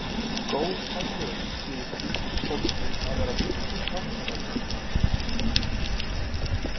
Góð aðlögun sé í því fólgin að vera virkur þátttakandi.